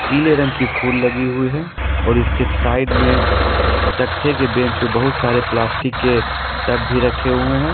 पीले रंग की फुल लगी हुई है और इसके साइड में तख्ते के बेंच पर बहुत सारे प्लास्टिक के टब भी रखे हुए हैं।